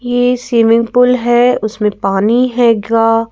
ये swimming pool है उसमें पानी हैगा।